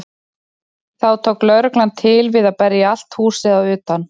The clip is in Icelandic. Þá tók lögreglan til við að berja allt húsið að utan.